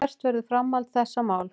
Hvert verður framhald þessa máls.